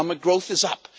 Economic growth is up.